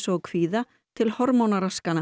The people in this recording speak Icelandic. og kvíða til